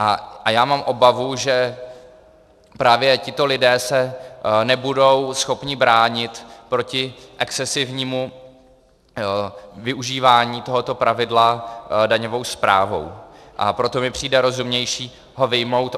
A já mám obavu, že právě tito lidé se nebudou schopni bránit proti excesivnímu využívání tohoto pravidla daňovou správou, a proto mi přijde rozumnější ho vyjmout.